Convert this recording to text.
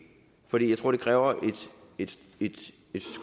fordi jeg tror det kræver et